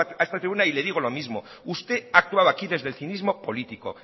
salgo a esta tribuna y le digo lo mismo usted ha actuado aquí desde el cinismo político